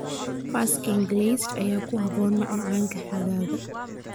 Fersken glazed ayaa ku habboon macmacaanka xagaaga.